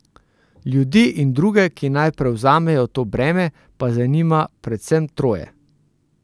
Ljudi in druge, ki naj prevzamejo to breme, pa zanima predvsem troje.